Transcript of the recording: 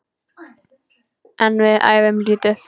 En við æfum lítið.